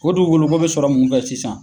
O dugukolo ko bɛ sɔrɔ mun fɛ sisan.